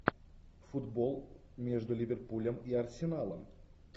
футбол между ливерпулем и арсеналом